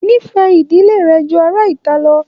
N'ifẹ ìdílé rẹ jù ará ìta lọ!